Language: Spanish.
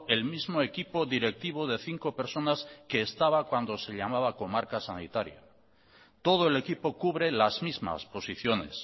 el mismo equipo directivo de cinco personas que estaba cuando se llamaba comarca sanitaria todo el equipo cubre las mismas posiciones